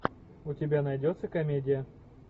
у тебя найдется комедия